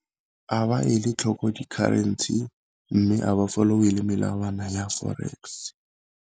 A ba e le tlhoko di-currency, mme a ba follow-e le melawana ya forex.